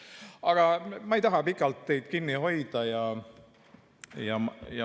Aga ma ei taha teid pikalt kinni hoida.